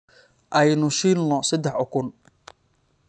Aynu shiilno saddex ukun.